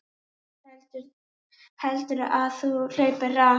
Heldurðu að þú hlaupir hratt?